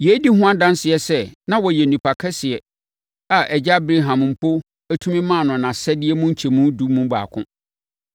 Yei di ho adanseɛ sɛ na ɔyɛ onipa kɛseɛ a Agya Abraham mpo tumi ma no nʼasadeɛ mu nkyɛmu edu mu baako.